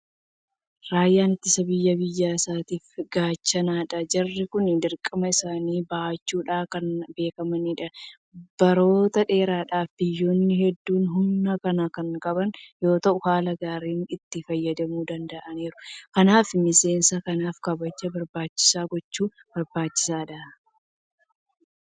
Raayyaan ittisa biyyaa biyya isaatiif gaachanadha. Jarri kun dirqama isaanii bahachuudhaan kan beekamanidha. Baroota dheeraadhaaf biyyoonni hedduun humna kana kan qaban yoota'u haala gaariidhaan itti fayyadamuu danda'aniiru. Kanaaf miseensa kanaaf kabaja barbaachisuu gochuun barbaachisaadha.